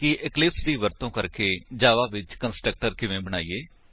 ਕਿ ਇਕਲਿਪਸ ਦੀ ਵਰਤੋ ਕਰਕੇ ਜਾਵਾ ਵਿੱਚ ਕੰਸਟਰਕਟਰ ਕਿਵੇਂ ਬਣਾਈਏ